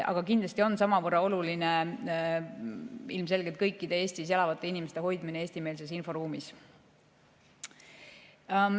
Aga kindlasti on samavõrra oluline ilmselgelt kõikide Eestis elavate inimeste hoidmine eestimeelses inforuumis.